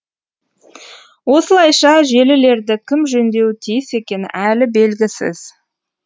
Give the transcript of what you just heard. осылайша желілерді кім жөндеуі тиіс екені әлі белгісіз